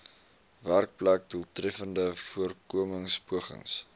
werkplek doeltreffende voorkomingspogings